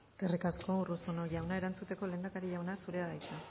eskerrik asko urruzuno jauna erantzuteko lehendakari jauna zurea da hitza